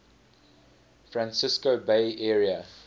francisco bay area